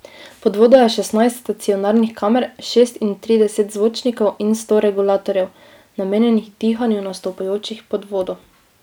Pod vodo je šestnajst stacionarnih kamer, šestintrideset zvočnikov in sto regulatorjev, namenjenih dihanju nastopajočih pod vodo.